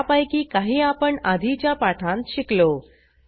त्यापैकी काही आपण आधीच्या पाठांत शिकलो